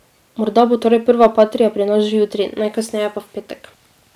Morda bo torej prva patria pri nas že jutri, najkasneje pa v petek.